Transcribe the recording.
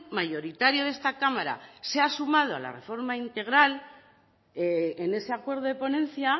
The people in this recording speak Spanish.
mayoritario de esta cámara se ha sumado a la reforma integral en ese acuerdo de ponencia